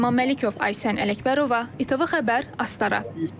Rəhman Məlikov, Aysən Ələkbərova, ITV Xəbər, Astara.